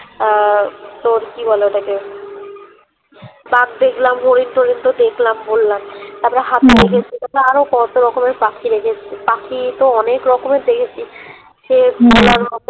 আহ তোর কি বলে ওটাকে বাঘ দেখলাম হরিণ টরিন তো দেখলাম বললাম ই তারপরে হাতি দেখেছি তারপর আরো কত রকমের পাখি দেখেছি পাখি তো অনেক রকমের দেখেছি সে